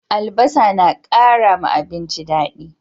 Albasa na kara abinci dadi